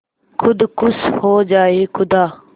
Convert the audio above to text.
खुद खुश हो जाए खुदा